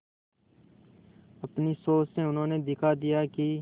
अपनी सोच से उन्होंने दिखा दिया कि